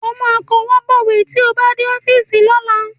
Ó kọwọ́ bọ̀wé tí ó bá dé ọ́fíìsì lọ́la